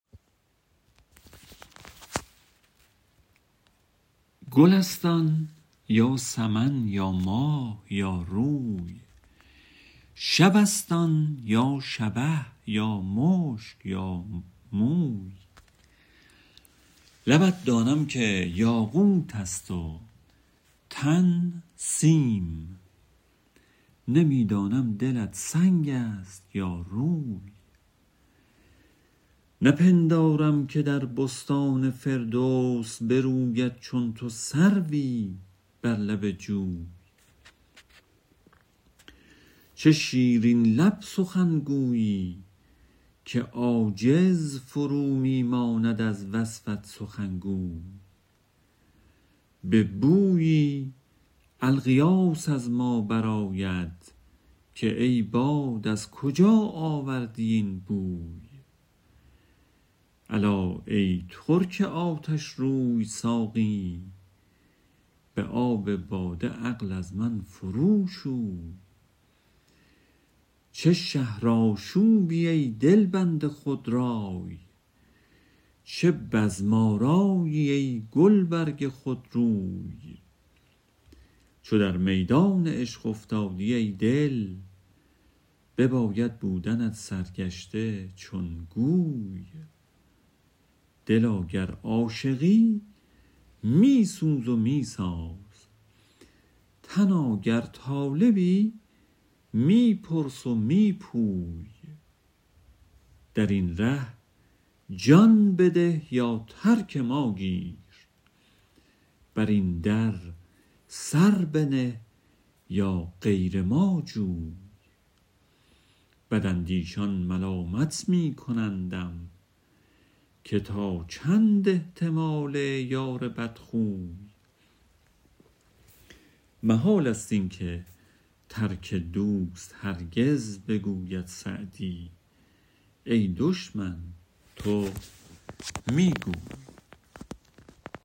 گل است آن یا سمن یا ماه یا روی شب است آن یا شبه یا مشک یا موی لبت دانم که یاقوت است و تن سیم نمی دانم دلت سنگ است یا روی نپندارم که در بستان فردوس بروید چون تو سروی بر لب جوی چه شیرین لب سخنگویی که عاجز فرو می ماند از وصفت سخنگوی به بویی الغیاث از ما برآید که ای باد از کجا آوردی این بوی الا ای ترک آتشروی ساقی به آب باده عقل از من فرو شوی چه شهرآشوبی ای دلبند خودرای چه بزم آرایی ای گلبرگ خودروی چو در میدان عشق افتادی ای دل بباید بودنت سرگشته چون گوی دلا گر عاشقی می سوز و می ساز تنا گر طالبی می پرس و می پوی در این ره جان بده یا ترک ما گیر بر این در سر بنه یا غیر ما جوی بداندیشان ملامت می کنندم که تا چند احتمال یار بدخوی محال است این که ترک دوست هرگز بگوید سعدی ای دشمن تو می گوی